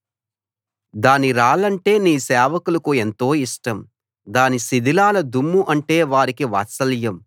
దాని రాళ్లంటే నీ సేవకులకు ఎంతో ఇష్టం దాని శిథిలాల దుమ్ము అంటే వారికి వాత్సల్యం